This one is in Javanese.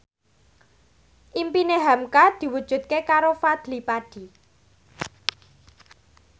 impine hamka diwujudke karo Fadly Padi